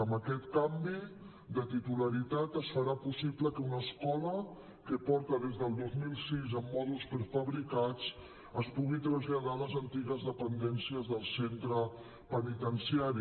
amb aquest canvi de titularitat es farà possible que una escola que porta des del dos mil sis en mòduls prefabricats es pugui traslladar a les antigues dependències del centre penitenciari